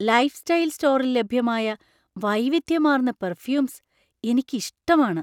Lifestyle സ്റ്റോറിൽ ലഭ്യമായ വൈവിധ്യമാർന്ന പെര്‍ഫ്യൂമ്സ് എനിക്ക് ഇഷ്ടമാണ്.